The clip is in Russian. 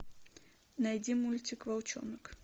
найди мультик волчонок